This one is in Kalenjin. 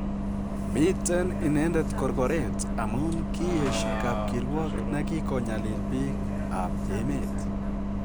Miten inendet korkoreet amun kiyesyo kapkirwok ne kikonyalil biik ap emet.